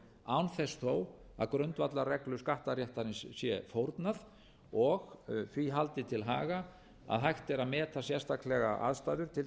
án þess þó að grundvallarreglur skattaréttarins sé fórnað og því haldið til haga að hægt er að meta sérstaklega aðstæður til